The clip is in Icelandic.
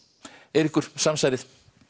Eiríkur samsærið